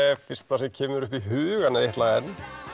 fyrsta sem kemur upp í hugann er eitt lag enn